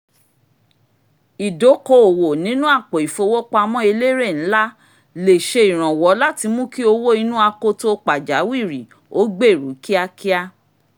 ìdókoòwò nínú apo ìfowópamọ́ elérè ǹlá lè ṣe ìrànwọ́ láti múkí owó inú akoto pàjáwìri ó gbèru kíákíá